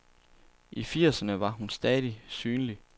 I firserne var hun stadig synlig.